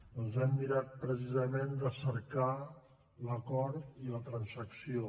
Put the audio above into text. doncs hem mirat precisament de cercar l’acord i la transacció